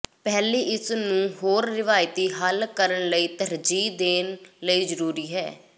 ਪਹਿਲੀ ਇਸ ਨੂੰ ਹੋਰ ਰਵਾਇਤੀ ਹੱਲ ਕਰਨ ਲਈ ਤਰਜੀਹ ਦੇਣ ਲਈ ਜ਼ਰੂਰੀ ਹੈ